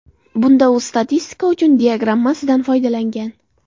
Bunda u statistika uchun diagrammasidan foydalangan.